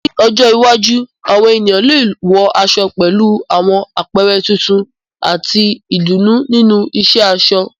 Ní ọjọ́ iwájú, àwọn ènìyàn lè wọ aṣọ pẹ̀lú àwọn àpẹẹrẹ tuntun àti ìdùnnú nínú ìṣe aṣọ.